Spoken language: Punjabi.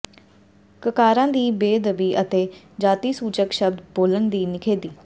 ਕਕਾਰਾਂ ਦੀ ਬੇਅਦਬੀ ਅਤੇ ਜਾਤੀਸੂਚਕ ਸ਼ਬਦ ਬੋਲਣ ਦੀ ਨਿਖੇਧੀ